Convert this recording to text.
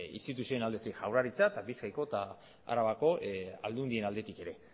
instituzioen aldetik jaurlaritza eta bizkaiko eta arabako aldundien aldetik